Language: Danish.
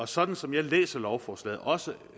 sådan som jeg læser lovforslaget også